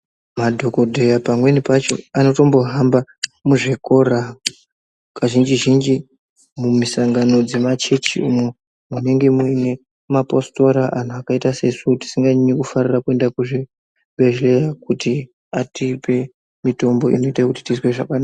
Madhokoteya pamweni pacho anotombohamba muzvikora kazhinji-zhinji mumisangano dzemachechimo, munenge muine maphositora anhu akaita sesu, tisinganyanyi kufarira kuenda kuchibhedhleya ,kuti atipe mitombo inoita kuti tizwe zvakanaka.